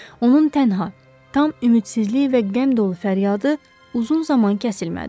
Onun tənha, tam ümidsizlik və qəm dolu fəryadı uzun zaman kəsilmədi.